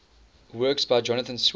works by jonathan swift